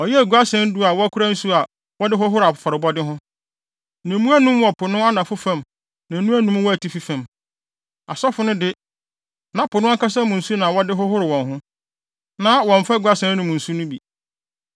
Ɔyɛɛ guasɛn du a wɔkora nsu a wɔde hohoro afɔrebɔde ho. Na emu anum wɔ Po no anafo fam na anum wɔ atifi fam. Asɔfo no de, na Po no ankasa mu nsu na na wɔde hohoro wɔn ho, na wɔmmfa guasɛn no mu nsu no bi.